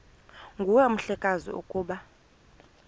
nguwe mhlekazi ukuba